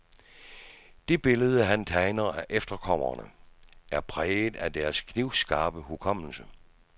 Det billede, han tegner af efterkommerne, er præget af deres knivskarpe hukommelse.